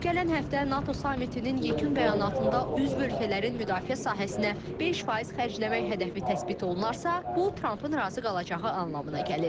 Gələn həftə NATO samitinin yekun bəyanatında üzv ölkələrin müdafiə sahəsinə 5% xərcləmək hədəfi təsbit olunarsa, bu Trampın razı qalacağı anlamına gəlir.